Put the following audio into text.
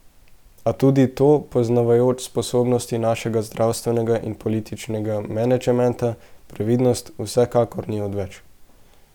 A tudi tu, poznavajoč sposobnosti našega zdravstvenega in političnega menedžmenta, previdnost vsekakor ni odveč.